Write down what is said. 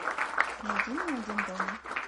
найди мне один дома